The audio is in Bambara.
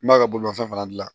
N b'a ka bolifɛn fana dilan